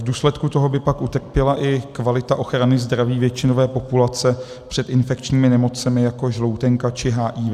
V důsledku toho by pak utrpěla i kvalita ochrany zdraví většinové populace před infekčními nemocemi, jako žloutenka či HIV.